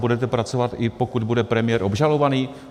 Budete pracovat, i pokud bude premiér obžalovaný?